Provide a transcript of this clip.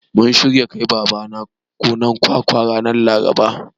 Mun shirya kai Babana gonar kwakwa ranar Laraba.